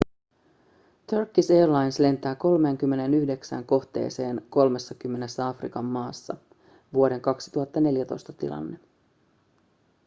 turkish airlines lentää 39 kohteeseen 30 afrikan maassa vuoden 2014 tilanne